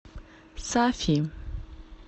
сафи